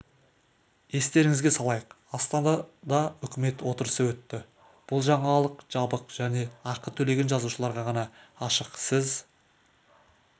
естеріңізге салайық астанада үкімет отырысы өтті бұл жаңалық жабық және ақы төлеген жазылушыларға ғана ашық сіз